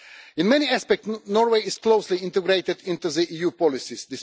In many aspects, Norway is closely integrated into EU policies.